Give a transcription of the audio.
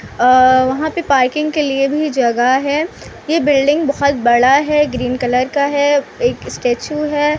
अ अ वहां पर पार्किंग के लिए भी जगह है ये बिल्डिंग बहुत बड़ा है ग्रीन कलर का है एक स्टेच्यू है।